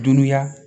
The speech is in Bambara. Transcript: Dunuya